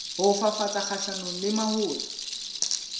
ho fafatsa kgahlanong le mahola